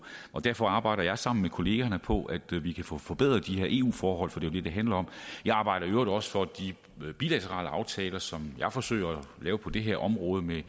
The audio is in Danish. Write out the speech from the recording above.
derfor arbejder jeg sammen med kollegaerne på at vi vi kan få forbedret de her eu forhold for det det det handler om jeg arbejder i øvrigt også for at de bilaterale aftaler som jeg forsøger at lave på det her område med i